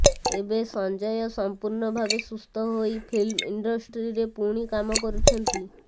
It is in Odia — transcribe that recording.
ଏବେ ସଞ୍ଜୟ ସମ୍ପୂର୍ଣ୍ଣ ଭାବରେ ସୁସ୍ଥ ହୋଇ ଫିଲ୍ମ ଇଣ୍ଡଷ୍ଟ୍ରିରେ ପୁଣି କାମ କରୁଛନ୍ତି